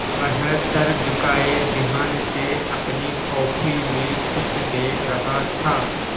वह सर झुकाये ध्यान से अपनी कॉपी में कुछ देख रहा था